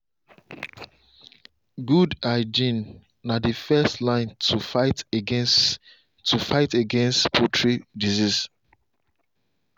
good hygiene na the first line to fight against to fight against poultry disease.